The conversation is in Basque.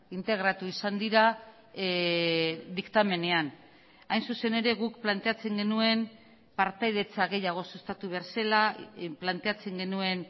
integratu izan dira diktamenean hain zuzen ere guk planteatzen genuen partaidetza gehiago sustatu behar zela planteatzen genuen